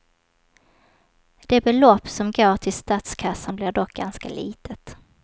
Det belopp som går till statskassan blir dock ganska litet.